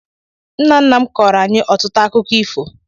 Nna nna m kọọrọ anyị ọtụtụ akụkọ ifo.